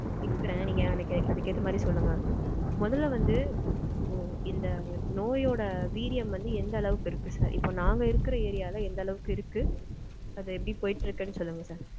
கேக்கறேன். நீங்க அதுக்கேத்த மாதிரி சொல்லுங்க. மொதல்ல வந்து இந்த நோயோட வீரியம் வந்து எந்த அளவுக்கு இருக்கு sir? இப்போ நாங்க இருக்க ஏரியால எந்த அளவுக்கு இருக்கு? அது எப்படி போயிட்டிருக்குனு சொல்லுங்க sir.